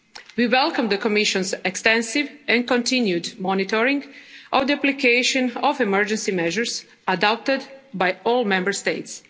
principles. We welcome the Commission's extensive and continued monitoring of the application of emergency measures adopted by all Member